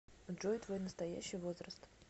джой твой настоящий возраст